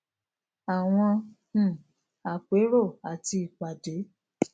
àwọn um àpérò àti ìpàdé